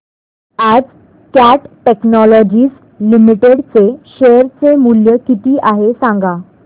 आज Cat Technologies Limited चे share चे मूल्य किती आहे सांगा